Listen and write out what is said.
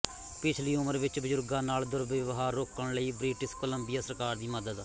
ਪਿਛਲੀ ਉਮਰ ਵਿੱਚ ਬਜ਼ੁਰਗਾਂ ਨਾਲ ਦੁਰਵਿਵਹਾਰ ਰੋਕਣ ਲਈ ਬ੍ਰਿਟਿਸ਼ ਕੋਲੰਬੀਆ ਸਰਕਾਰ ਦੀ ਮਦਦ